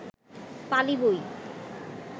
পালি বই